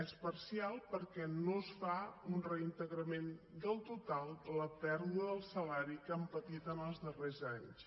és parcial perquè no es fa un reintegrament del total de la pèrdua del salari que han patit en els darrers anys